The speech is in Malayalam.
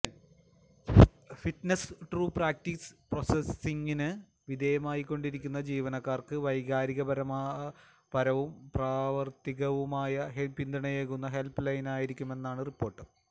ഫിറ്റ്നെസ് ടു പ്രാക്ടീസ് പ്രൊസസിംഗിന് വിധേയമായിക്കൊണ്ടിരിക്കുന്ന ജീവനക്കാര്ക്ക് വൈകാരിപരവും പ്രാവര്ത്തികവുമായ പിന്തുണയേകുന്ന ഹെല്പ് ലൈനായിരിക്കുമെന്നാണ് റിപ്പോര്ട്ട്